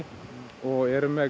og erum með